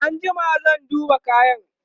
an jima zan duba kayan